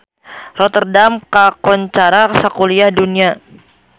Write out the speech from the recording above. Rotterdam kakoncara sakuliah dunya